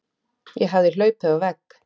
Ég hafði hlaupið á vegg.